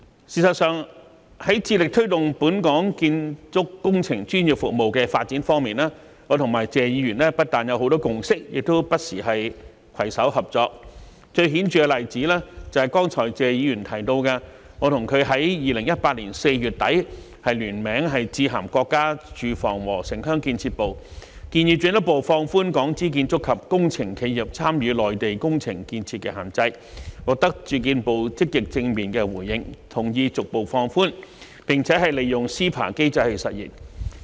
事實上，在致力推動本港建築工程專業服務的發展方面，我和謝議員不但有很多共識，亦不時攜手合作，最顯著的例子是謝議員剛才提到，我和他在2018年4月底聯名致函國家住房和城鄉建設部，建議進一步放寬港資建築及工程企業參與內地工程建設的限制，獲得住建部積極正面的回應，同意逐步放寬，並利用 CEPA 機制實現。